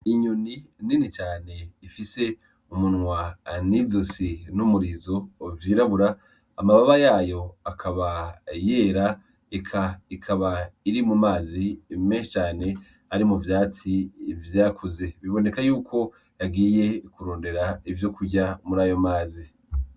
Inyoni nini cane ifise umunwa nizosi numurizo vyirabura, amababa yayo akaba yera ikaba iri mumazi meshi cane ari muvyatsi byakuze. Biboneka yuko yagiye kurondera ivyo kurya muri ayo mazi.